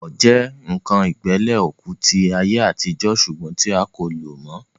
Ọkọ́ jẹ́ ǹkan ìgbẹ́lẹ̀ òkú tí àyè àtijọ́ sùgbọ́n tí a kò lò mọ́